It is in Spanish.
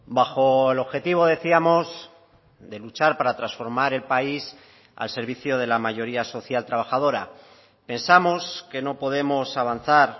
bajo el objetivo decíamos de luchar para transformar el país al servicio de la mayoría social trabajadora pensamos que no podemos avanzar